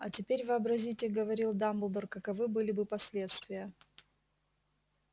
а теперь вообразите говорил дамблдор каковы были бы последствия